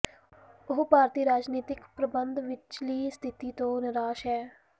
ਉਹ ਭਾਰਤੀ ਰਾਜਨੀਤਕ ਪ੍ਰਬੰਧ ਵਿਚਲੀ ਸਥਿਤੀ ਤੋਂ ਨਿਰਾਸ਼ ਹੈ